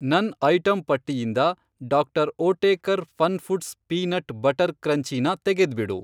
ನನ್ ಐಟಂ ಪಟ್ಟಿಯಿಂದ Dr. Oetker Fun Foods peanut butter crunchy ನ ತೆಗೆದ್ಬಿಡು.